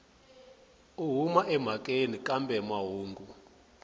u huma emhakeni kambe mahungu